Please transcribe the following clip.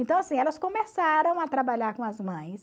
Então, assim, elas começaram a trabalhar com as mães.